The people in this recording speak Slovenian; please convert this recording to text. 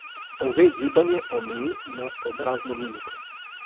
Ove gibanje omeji na obrazno mimiko.